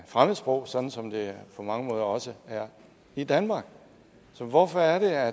fremmedsprog som som det på mange måder også er i danmark så hvorfor er